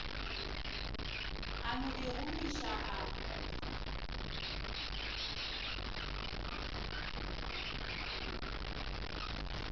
a no di gomiša ga